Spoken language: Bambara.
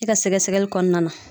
I ka sɛgɛsɛgɛli kɔnɔna na.